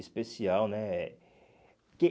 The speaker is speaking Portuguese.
Especial, né? Que